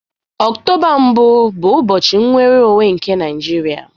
Octoba mbụ bụ ụbọchị nnwere onwe nke Naijiria